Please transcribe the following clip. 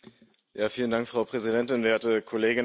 Frau Präsidentin, werte Kolleginnen und Kollegen!